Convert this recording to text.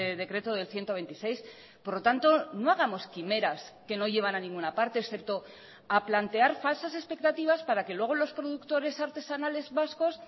decreto del ciento veintiséis por lo tanto no hagamos quimeras que no llevan a ninguna parte excepto a plantear falsas expectativas para que luego los productores artesanales vascos